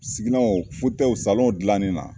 Siginanw fɔtɛyiw salɔnw gilannin na